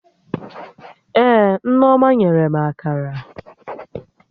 Ee, Nneoma nyere m Akara